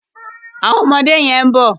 Àwọn ọmọdé yẹn ń bọ̀.